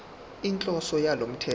inhloso yalo mthetho